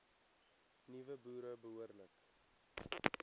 nuwe boere behoorlik